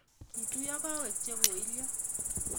Kituyo gowek chekoilyo